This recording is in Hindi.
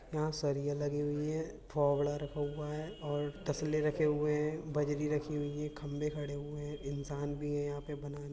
यहां सरिये लगे हुए हैं। फावड़ा रखा हुआ है और तस्ले रखे हुए हैं बजरी रखी हुई हैं खंबे खड़े हुए हैं इंसान भी है। यहां पे बनाना --